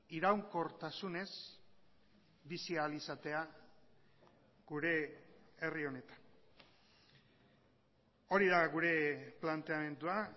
iraunkortasunez bizi ahal izatea gure herri honetan hori da gure planteamendua